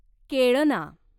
केळना